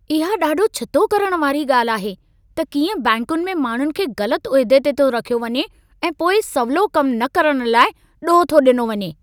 इहा ॾाढो छितो करण वारी ॻाल्हि आहे त कीअं बैंकुनि में माण्हुनि खे ग़लत उहिदे ते रखियो थो वञे ऐं पोइ सवलो कमु न करण लाइ ॾोह थो ॾिनो वञे।